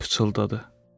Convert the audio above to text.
Hel pıçıldadı.